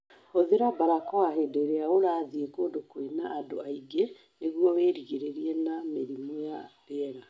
Hũthĩra barakoa hĩndĩ ĩrĩa urathiĩ kũndũ kwĩna andũ aingĩ nĩguo wĩrigĩrĩrie na mĩrimũ ya rĩera